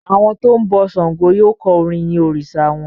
Àwọn tó ń bọ ṣàngó yóò kọ orin yin òrìsà wọn.